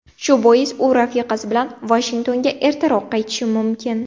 Shu bois u rafiqasi bilan Vashingtonga ertaroq qaytishi mumkin.